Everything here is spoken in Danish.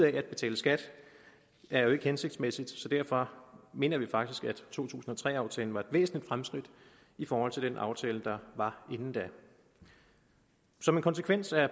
at betale skat var jo ikke hensigtsmæssigt så derfor mener vi faktisk at to tusind og tre aftalen var et væsentligt fremskridt i forhold til den aftale der var inden da som konsekvens af